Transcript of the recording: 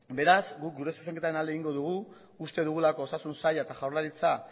beraz guk gure zuzenketaren alde egingo dugu uste dugulako osasun saila eta jaurlaritza